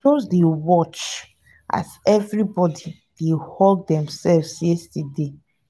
i just dey watch as everybody dey hug themselves yesterday